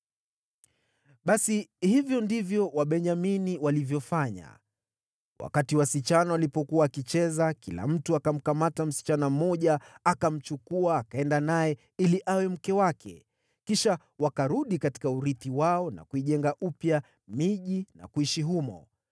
Basi hivyo ndivyo Wabenyamini walivyofanya. Wakati wasichana walipokuwa wakicheza, kila mtu akamkamata msichana mmoja akamchukua akaenda naye ili awe mke wake. Kisha wakarudi katika urithi wao na kuijenga upya miji na kuishi humo.